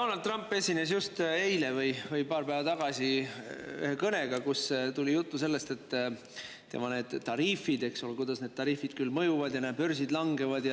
Donald Trump esines eile või paar päeva tagasi kõnega, kus oli juttu sellest, kuidas need tema tariifid mõjuvad ja et näe, börsid langevad.